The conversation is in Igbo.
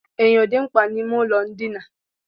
Enyo dị mkpa n'ime ụlọ ndina.